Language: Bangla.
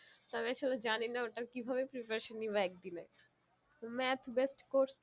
তবে শুধু জানি না ওটা কিভাবে preparation নিবো এক দিনে math based course তো তাই